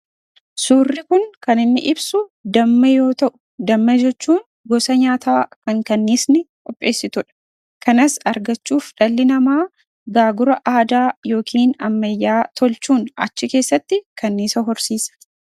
Suurri Kun kan inni ibsu damma yoo ta'u, damma jechuun gosa nyaataa kan kaniisni qopheessitudha. Kanas argachuuf dhalli namaa gaagura aadaa yookiin ammayyaa tolchuun achi keessatti kaniisa horsiisa.